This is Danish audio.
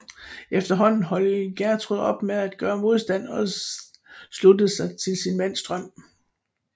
Efterhånden holdt Gjertrud op med at gøre modstand og sluttede sig til sin mands drøm